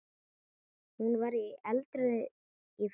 Hún var eldrauð í framan.